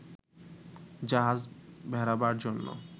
জাহাজ ভেড়াবার জন্য